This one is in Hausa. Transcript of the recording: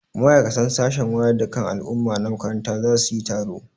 Ma'aikatan sashen wayar da kan al'umma na makaranta za su yi taro.